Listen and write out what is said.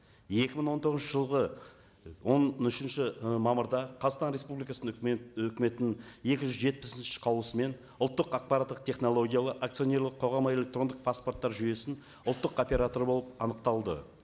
екі мың он тоғызыншы жылғы он үшінші ы мамырда қазақстан республикасының өкіметінің екі жүз жетпісінші қаулысымен ұлттық ақпараттық технологиялар акционерлік қоғамы электрондық паспорттар жүйесінің ұлттық операторы болып анықталды